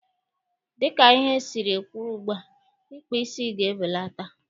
Dịka ihe siri kwụrụ ugbua, ịkpa isi ga-ebelata.